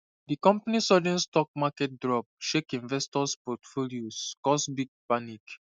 di company sudden stock market drop shake investors portfolios cause big panic